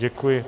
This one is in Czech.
Děkuji.